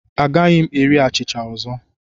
Agaghị m eri achịcha ọzọ.